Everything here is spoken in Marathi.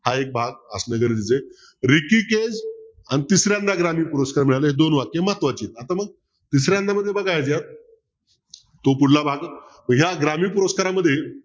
हा एक भाग असं गरजेचं आहे अन तिसऱ्यांदा ग्रामीण पुरस्कार मिळाला हे दोन वाक्य महत्वाची आता मग दुसऱ्यांदा मध्ये बघा याच्यात तो पुढला भाग या ग्रामीण पुरस्कारामध्ये